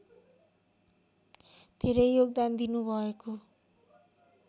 धेरै योगदान दिनुभएको